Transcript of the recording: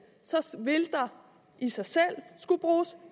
så vil der i sig selv skulle bruges